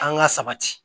An ka sabati